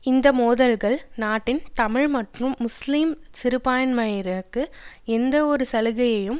இந்த மோதல்கள் நாட்டின் தமிழ் மற்றும் முஸ்லிம் சிறுபான்மையினருக்கு எந்தவொரு சலுகையையும்